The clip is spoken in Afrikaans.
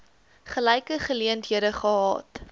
gelyke geleenthede gehad